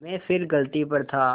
मैं फिर गलती पर था